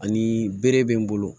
Ani bere bɛ n bolo